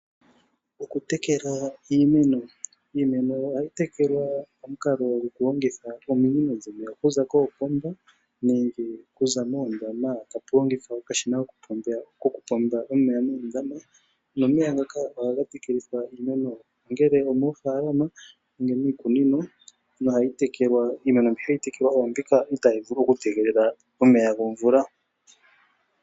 Okutekela iimeno Iimeno ohayi tekelwa pamukalo gokulongitha ominino dhomeya okuza koopomba nenge okuza moondama tapu longithwa okashina kokupomba omeya moondama, nomeya ngaka ohaga tekelithwa iimeno ngele omoofaalama nenge miikunino. Iimeno mbi hayi tekelwa oombika itaayi vulu okutegelela omeya gomvula.